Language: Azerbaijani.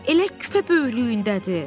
Elə küpə böyüklüyündədir.